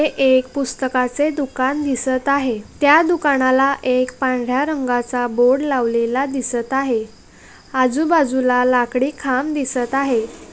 यह एक पुस्तक से दुकान दिसता है ते दुकान वाला एक पन्गा रंगा सा बोर्ड लावलेला दिसता है आजू बाजू ला लाकड़ी ख़म दिसता है।